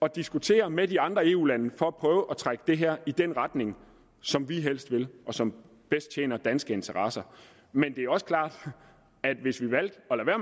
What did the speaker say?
at diskutere med de andre eu lande for at prøve at trække det her i den retning som vi helst vil og som bedst tjener danske interesser men det er også klart at hvis vi valgte